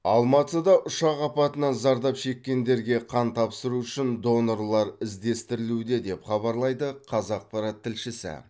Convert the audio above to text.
алматыда ұшақ апатынан зардап шеккендерге қан тапсыру үшін донорлар іздестірілуде деп хабарлайды қазақпарат тілшісі